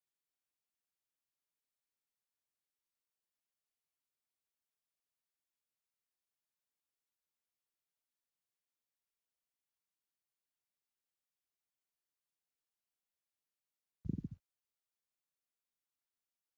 Bakki kun addabaabaayii dha. Addabaabaayin kun, magaalaa Dabra Taabor jedhamutti kan argamu yoo ta'u, siidaa mootii Itoophiyaa durii Teewdroositu addabaabaayii kanatti argama. Gamoo guddaan darbii hedduu qabu addaabaabaayii kana cinaatti ni argama.